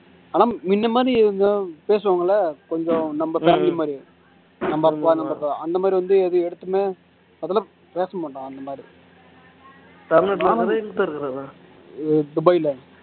ஆனா முன்ன மாதிரி பேசுவாங்கல்ல கொஞ்சம் நம்ம தம்பி மாதிரி அந்த மாதிரி வந்து எது எடுத்துமே அதெல்லாம் பேச மாட்டோம் அந்த மாதிரி துபாய்ல